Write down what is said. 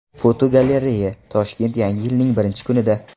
Fotogalereya: Toshkent yangi yilning birinchi kunida.